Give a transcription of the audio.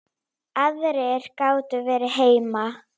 Aðrir gátu verið heima.